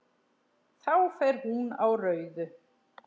Þá fer hún á rauðu.